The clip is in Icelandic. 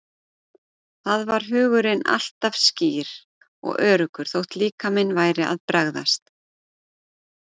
Þar var hugurinn alltaf skýr og öruggur þótt líkaminn væri að bregðast.